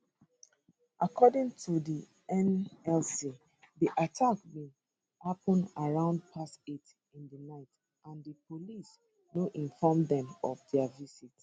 according to di nlc di attack bin happun around past 8 in di night and di police no inform dem of dia visit